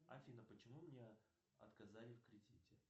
афина почему мне отказали в кредите